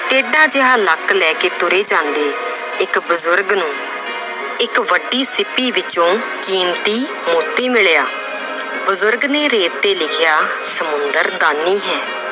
ਟੇਢਾ ਜਿਹਾ ਲੱਕ ਲੈ ਕੇ ਤੁਰੇ ਜਾਂਦੇ ਇੱਕ ਬਜ਼ੁਰਗ ਨੂੰ ਇੱਕ ਵੱਡੀ ਛਿੱਪੀ ਵਿੱਚੋਂ ਕੀਮਤੀ ਮੋਤੀ ਮਿਲਿਆ ਬਜ਼ੁਰਗ ਨੇ ਰੇਤ ਤੇ ਲਿਖਿਆ ਸਮੁੰਦਰ ਦਾਨੀ ਹੈ